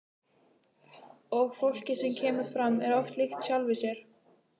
Og fólkið sem kemur fram er oft líkt sjálfu sér.